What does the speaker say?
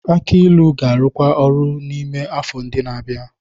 Aki ilu ga-arụkwu ọrụ n'ime afọ ndị na-abịa.